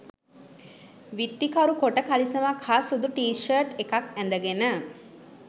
විත්තිකරු කොට කලිසමක් හා සුදු ටී ෂර්ට් එකක් ඇඳගෙන